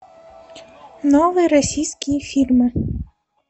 новые российские фильмы